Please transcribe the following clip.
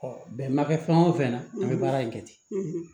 bɛn ma kɛ fɛn o fɛn na an bɛ baara in kɛ ten